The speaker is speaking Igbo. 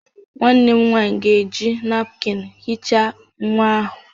Nwannem nwanyi ga-eji napụkịn hichaa nwa ahu.